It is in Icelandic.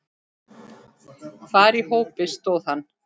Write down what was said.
Hvar í hópi stóð hann?